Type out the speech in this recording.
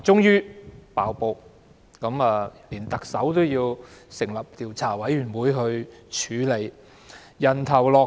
於是，特首便要成立調查委員會來處理，要人頭落地。